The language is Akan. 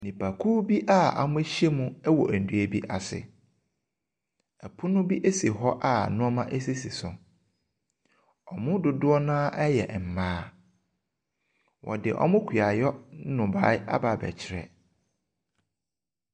Nnipakuo bi wɔahyia mu wɔ dua bi ase, pono bi si hɔ a nneɛma sisi so. Wɔn mu dodoɔ no ara yɛ mmaa. Wɔdze wɔn kuayɔ nnɔbaeɛ aba abɛkyerɛ.